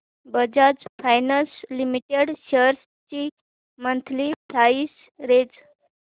Bajaj finance limited shares ची monthly price range